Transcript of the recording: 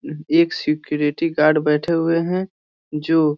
एक security guard बैठे हुए हैं जो --